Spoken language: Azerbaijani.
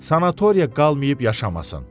Sanatoriya qalıb yaşamasın.